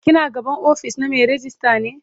ki na gaban ofis na Mai ragista ne?